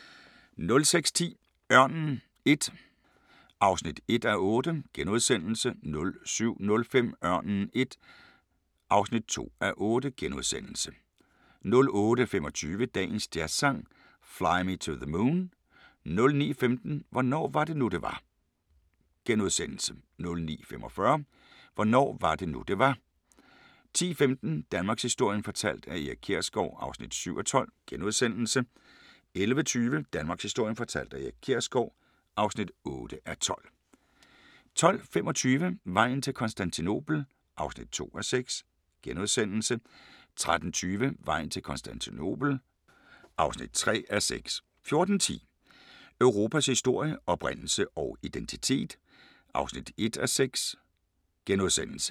06:10: Ørnen I (1:8)* 07:05: Ørnen I (2:8)* 08:25: Dagens Jazzsang: Fly Me to the Moon 09:15: Hvornår var det nu det var * 09:45: Hvornår var det nu det var 10:15: Danmarkshistorien fortalt af Erik Kjersgaard (7:12)* 11:20: Danmarkshistorien fortalt af Erik Kjersgaard (8:12) 12:25: Vejen til Konstantinopel (2:6)* 13:20: Vejen til Konstantinopel (3:6) 14:10: Europas historie – oprindelse og identitet (1:6)*